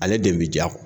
Ale de bi ja